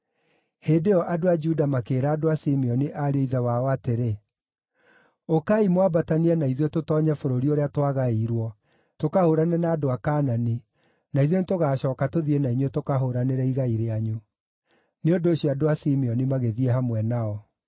Hĩndĩ ĩyo andũ a Juda makĩĩra andũ a Simeoni, ariũ a ithe wao, atĩrĩ, “Ũkai mwambatanie na ithuĩ tũtoonye bũrũri ũrĩa twagaĩirwo, tũkahũũrane na andũ a Kaanani, na ithuĩ nĩtũgaacooka tũthiĩ na inyuĩ tũkahũũranĩre igai rĩanyu.” Nĩ ũndũ ũcio andũ a Simeoni magĩthiĩ hamwe nao.